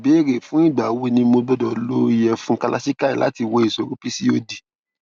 ìbéèrè fún ìgbà wo ni mo gbọdọ lo ìyẹfun kalachikai láti wo ìṣòro pcod